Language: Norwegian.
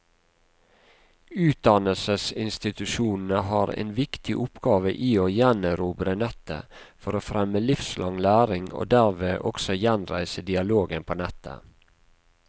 Utdannelsesinstitusjonene har en viktig oppgave i å gjenerobre nettet for å fremme livslang læring, og dermed også gjenreise dialogen på nettet.